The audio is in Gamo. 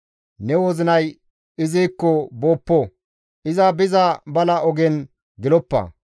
Ne wozinay izikko booppo; iza biza bala ogen geloppa.